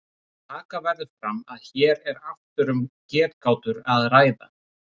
Taka verður fram að hér er aftur um getgátur að ræða.